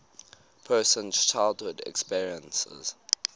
person's childhood experiences